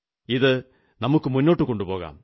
ഇതു നമുക്കു മുന്നോട്ടു കൊണ്ടുപോകാം